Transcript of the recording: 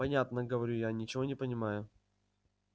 понятно говорю я ничего не понимая